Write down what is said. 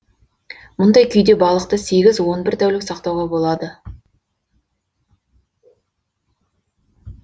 мұндай күйде балықты сегіз он бір тәулік сақтауға болады